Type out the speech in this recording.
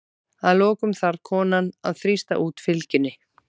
Að lokum þarf konan að þrýsta út fylgjunni.